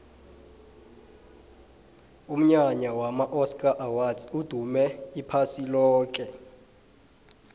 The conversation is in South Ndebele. umnyanya wama oscar awards udume iphasi loke